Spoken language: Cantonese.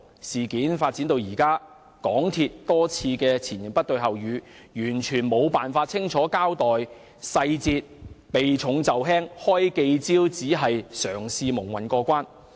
事件發展至今，港鐵公司多次前言不對後語，完全無法清楚交代細節，避重就輕，召開記者招待會只是嘗試蒙混過關。